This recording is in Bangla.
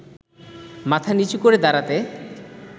মাথা নিচু করে দাঁড়াতে